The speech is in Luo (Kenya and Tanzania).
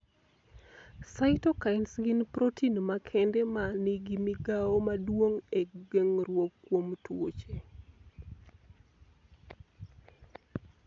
Cytokines gin protein makende ma nigi migawo maduong' e geng'ruok kuom tuoche.